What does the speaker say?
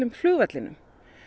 flugvellinum